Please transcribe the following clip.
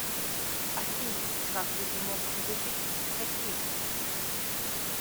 афина как люди могут не любить хоккей